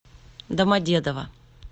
домодедово